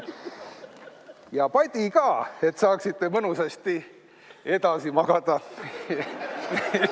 Ja padi ka, et saaksite mõnusasti edasi magada.